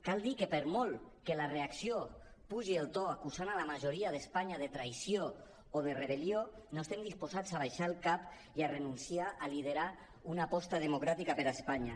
cal dir que per molt que la reacció apugi el to acusant la majoria d’espanya de traïció o de rebel·lió no estem disposats a abaixar el cap i a renunciar a liderar una aposta democràtica per a espanya